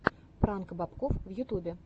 пранк бобкофф в ютьюбе